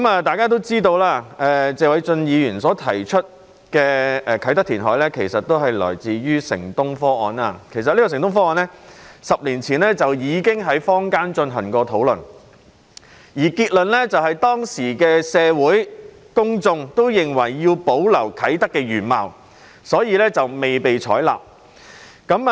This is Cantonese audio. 大家也知道，謝偉俊議員提出的啟德填海建議來自"城東方案"，這個方案在10年前已經在坊間進行討論，當時的結論是，社會公眾均認為要保留啟德的原貌，所以方案未被採納。